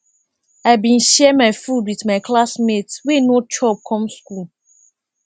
i bin share my food wit my classmate wey no chop come skool